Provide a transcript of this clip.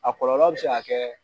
A kɔlɔlɔ bi se ka kɛ